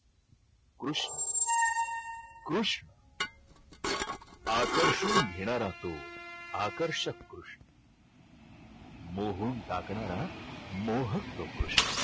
कृष्ण कृष्ण आकर्षून घेणारा तो आकर्षक कृष्ण मोहून टाकणारा मोहक तो कृष्ण.